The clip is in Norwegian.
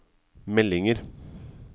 meldinger